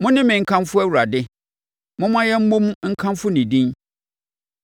Mo ne me nkamfo Awurade; momma yɛmmɔ mu nkamfo ne din!